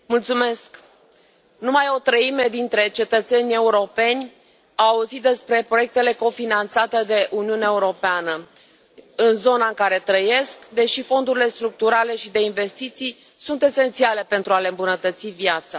Domnule președinte, numai o treime dintre cetățenii europeni au auzit despre proiectele cofinanțate de Uniunea Europeană în zona în care trăiesc, deși fondurile structurale și de investiții sunt esențiale pentru a le îmbunătăți viața.